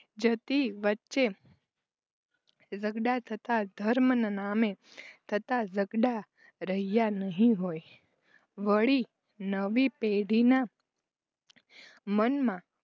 જતી વચ્ચે ઝગડા થતા ધર્મના નામે થતા ઝગડા રહ્યા નહિ હોય વળી નવી પેઢીના મનમાં